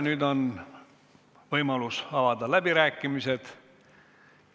Nüüd on võimalus avada läbirääkimised.